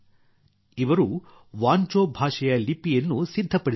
ಇವರು ವಾಂಚೋ ಭಾಷೆಯ ಲಿಪಿಯನ್ನೂ ಸಿದ್ಧಪಡಿಸಿದ್ದಾರೆ